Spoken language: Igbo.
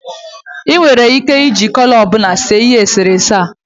I nwere ike iji kọlọ ọbụla were see ihe eserese a